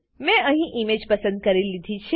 મેં અહીં ઈમેજ પસંદ કરી લીધી છે